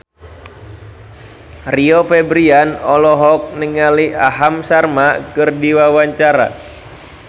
Rio Febrian olohok ningali Aham Sharma keur diwawancara